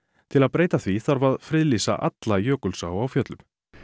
til að breyta því þarf að friðlýsa alla Jökulsá á Fjöllum